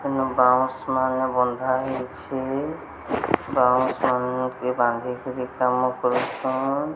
ଉନ ବାଉଁଶ୍ ମାନେ ବଧାହେଇଚେ ବାଉଁଶ ମାନେ ବାଧିକିରି କାମକରୁଛନ୍।